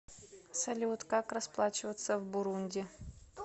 салют как расплачиваться в бурунди